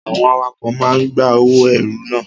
Àwọn awakọ̀ máa ń gba owó ẹrù na.